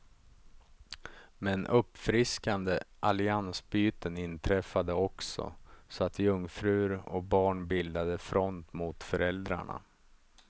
Men uppfriskande alliansbyten inträffade också, så att jungfrur och barn bildade front mot föräldrarna.